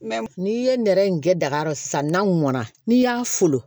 N'i ye nɛrɛ in kɛ daga kɔrɔ san na mɔnna n'i y'a folon